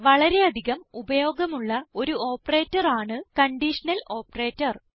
വളരെ അധികം ഉപയോഗമുള്ള ഒരു ഓപ്പറേറ്റർ ആണ് കണ്ടീഷണൽ ഓപ്പറേറ്റർ